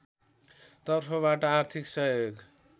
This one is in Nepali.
तर्फबाट आर्थिक सहयोग